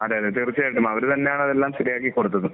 അതെ. അതെ. തീർച്ചയായിട്ടും. അവർ തന്നെയാണ് അതെല്ലാം ശരിയാക്കി കൊടുത്തതും.